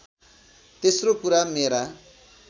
तेस्रो कुरा मेरा